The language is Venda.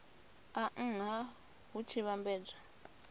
a nha hu tshi vhambedzwa